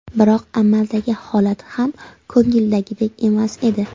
Biroq amaldagi holat ham ko‘ngildagidek emas edi.